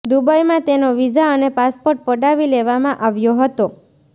દુબઇમાં તેનો વિઝા અને પાસપોર્ટ પડાવી લેવામાં આવ્યો હતો